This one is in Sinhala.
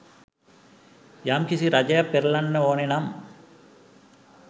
යම්කිසි රජයක් පෙරලන්න ඕන නම්